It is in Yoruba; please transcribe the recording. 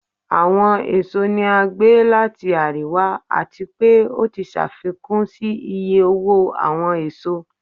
Awọn èsó ni a gbe lati ariwa, ati pe o ti ṣafikun si iye owo awọn èsó.